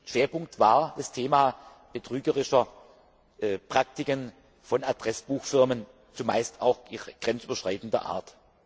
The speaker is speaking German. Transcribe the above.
Schwerpunkt war das Thema betrügerische Praktiken von Adressbuchfirmen, zumeist auch grenzüberschreitender Art.